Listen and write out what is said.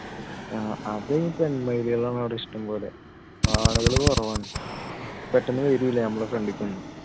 അത് പെൺ മയിലുകളാണ് അവിടെ ഇഷ്ടം പോലെ ആണുകൾ കുറവാണ് പെട്ടന്ന് വരൂല നമ്മുടെ front ലേക്ക് ഒന്നും